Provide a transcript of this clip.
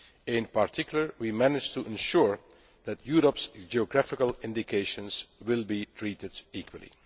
In particular, we have managed to ensure that Europe's geographical indications will be treated equally.